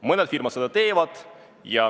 Mõned firmad seda teevad.